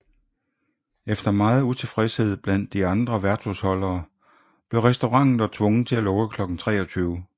Efter meget utilfredshed blandt de andra værtshusholdere blev restauranten dog tvunget til at lukke klokken 23